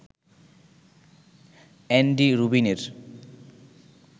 Andy রুবিনের